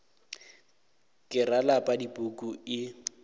ke ra lapa dipuku e